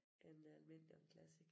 En almindelig og en classic